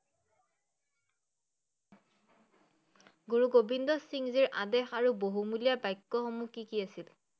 গুৰু গোবিন্দ সিংহজীৰ আদেশ আৰু বহুমূলীয়া বক্যসমূহ কি কি আছিল?